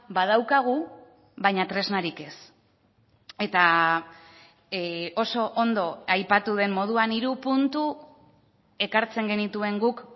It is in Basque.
badaukagu baina tresnarik ez eta oso ondo aipatu den moduan hiru puntu ekartzen genituen guk